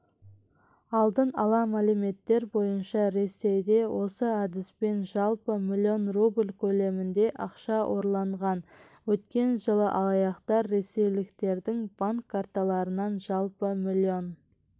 алдын ала мәліметтер бойынша ресейде осы әдіспен жалпы миллион рубль көлемінде ақша ұрланған өткен жылы алаяқтар ресейліктердің банк карталарынан жалпы миллион